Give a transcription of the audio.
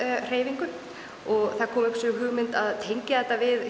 hreyfingu og það kom upp sú hugmynd að tengja þetta við